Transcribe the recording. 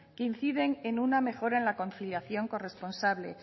que inciden en una mejora en la conciliación corresponsable